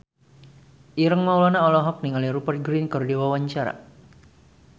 Ireng Maulana olohok ningali Rupert Grin keur diwawancara